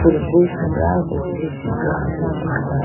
phool bo subraku chibu jihowa athuti ba.